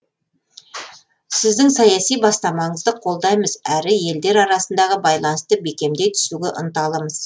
сіздің саяси бастамаңызды қолдаймыз әрі елдер арасындағы байланысты бекемдей түсуге ынталымыз